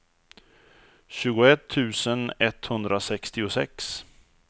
tjugoett tusen etthundrasextiosex